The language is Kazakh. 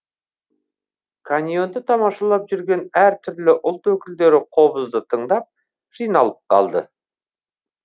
каньонды тамашалап жүрген әр түрлі ұлт өкілдері қобызды тыңдап жиналып қалды